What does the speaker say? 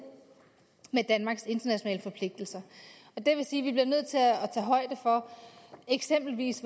med danmarks internationale forpligtelser og det vil sige at vi eksempelvis